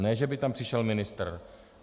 Ne že by tam přišel ministr.